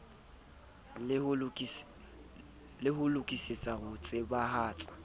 le ho lokisetsa ho tsebahatsa